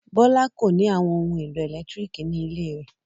Bọ́lá kò ní àwọn ohun-èlò ẹ̀lẹ́tíríkì ní ilé rẹ̀.